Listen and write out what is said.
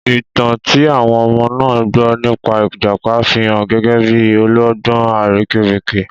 Ìtàn tí àwọn ọmọ náà gbọ́ nípa ìjàpá fi hàn gẹ́gẹ́ bí ọlọ́gbọ́n àrekérekè.